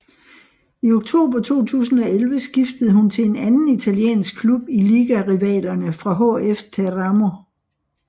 I oktober 2011 skiftede hun til en anden italiensk klub i ligarivalerne fra HF Teramo